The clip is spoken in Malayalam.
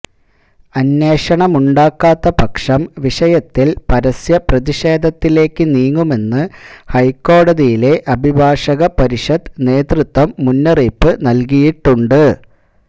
അന്വേഷണമുണ്ടാകാത്ത പക്ഷം വിഷയത്തില് പരസ്യ പ്രതിഷേധത്തിലേക്ക് നീങ്ങുമെന്ന് ഹൈക്കോടതിയിലെ അഭിഭാഷക പരിഷത്ത് നേതൃത്വം മുന്നറിയിപ്പ് നല്കിയിട്ടുണ്ട്